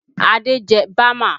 Adé jẹ bama